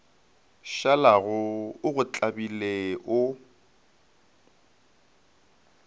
šalago o go tlabile o